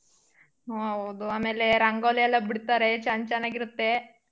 ಹೂ ಹೌದು ಆಮೇಲೆ ರಂಗೋಲಿ ಎಲ್ಲಾ ಬಿಡ್ತಾರೆ ಚೆನ್~ ಚೆನ್ನಾಗಿರತ್ತೆ.